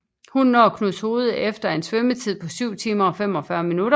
Hun når Knudshoved efter en svømmetid på 7 timer og 45 min